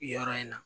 Yɔrɔ in na